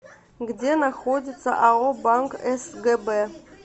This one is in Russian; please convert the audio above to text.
где находится ао банк сгб